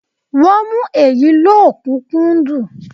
Wọ́n ń mú èyí lọ́kùnúnkúndun